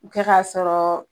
O kɛ ka sɔrɔ